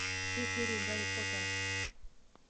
все серии гарри поттера